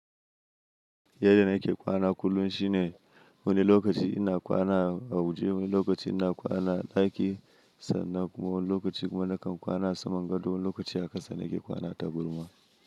Yadda na ke kwana kullum shine wani lokaci ina kwana a waje, wani lokaci ina kwana ɗaki sannan kuma wani lokaci kuma nakan kwana saman gado, wani lokaci haka sannan ke kwana tagarma.